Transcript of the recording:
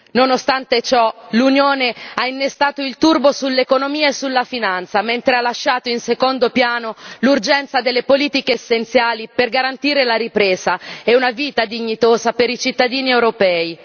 Nonostante ciò, l'Unione ha innestato il turbo sull'economia e sulla finanza, mentre ha lasciato in secondo piano l'urgenza delle politiche essenziali per garantire la ripresa e una vita dignitosa per i cittadini europei.